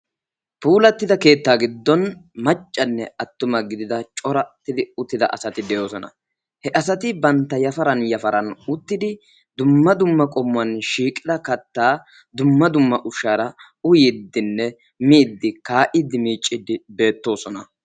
puulatida keettaa giddon macanne attuma gidida asati uttidosina. he asati banta yafaran yafaran uttidi v qommuwan shiiqida kataa dumma dumma miidinne uyiidi beettoosona.